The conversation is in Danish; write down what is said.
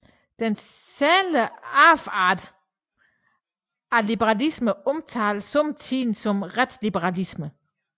Den særlige afart af liberalismen omtales somme tider som retsliberalisme